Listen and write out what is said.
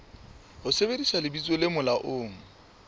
ho sebedisa lebitso le molaong